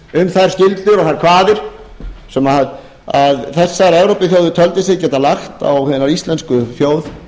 um þær skuldir og þær kvaðir sem þessar evrópuþjóðir töldu sig geta lagt á hina íslensku þjóð